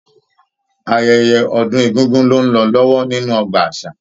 Ayẹyẹ ọdun egúngún lo n lọ lọwọ nínú ọgbà àṣà.